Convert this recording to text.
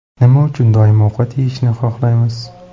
Nima uchun doim ovqat yeyishni xohlaymiz?.